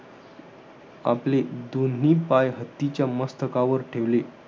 आपले, दोन्ही पाय हत्तीच्या मस्तकावर ठेवले.